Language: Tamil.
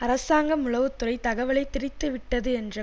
அரசாங்கம் உளவு துறை தகவலை திரித்து விட்டது என்ற